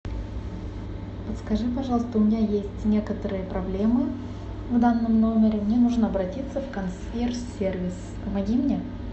подскажи пожалуйста у меня есть некоторые проблемы в данном номере мне нужно обратиться в консьерж сервис помоги мне